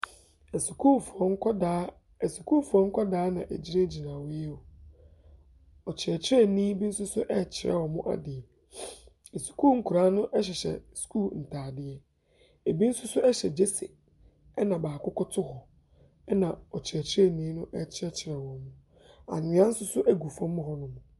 Asukuufoɔ nkwadaa asukuufoɔ nkwadaa na wɔgyinagyina hɔ yi. Ɔkyerɛkyerɛni bi nso so rekyerɛ wɔn ade. Asukuu nkwadaa no hyehyɛ sukuu ntadeɛ. Ɛbi nso hyɛ jersey, ɛna baako koto hɔ, ɛna ɔkyerɛkyerɛni no rekyerɛkyerɛ wɔn. Anwea nso so gu fam hɔnom.